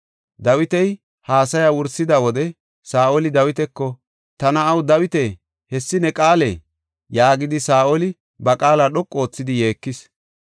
Dawiti haasaya wursida wode Saa7oli Dawitako, “Ta na7a Dawita, hessi ne qaalee?” yaagidi Saa7oli ba qaala dhoqu oothidi yeekis.